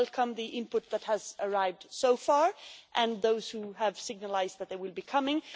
We welcome the input that has arrived so far and those who have indicated that they would be coming.